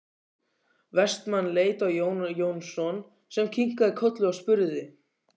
Vestmann leit á Jón Jónsson sem kinkaði kolli og spurði